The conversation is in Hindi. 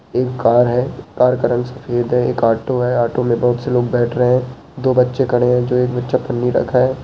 एक कार है कार का रंग सफेद है एक ऑटो है ऑटो में बहोत से लोग बैठ रहे हैं दो बच्चे खड़े हैं जो एक बच्चा पन्नी रखा है।